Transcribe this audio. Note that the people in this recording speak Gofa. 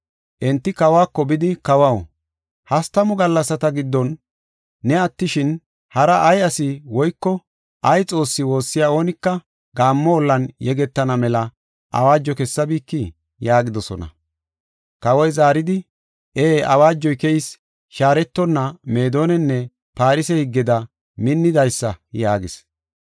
Enti kawako bidi, “Kawaw, hastamu gallasata giddon ne attishin, hara ay ase woyko ay xoosse woossiya oonika gaammo ollan yegetana mela awaajo kessabikii?” yaagidosona. Kawoy zaaridi, “Ee awaajay keyis; shaaretonna Meedonanne Farse higgeda minnidaysa” yaagis.